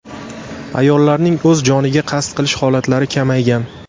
Ayollarning o‘z joniga qasd qilish holatlari kamaygan.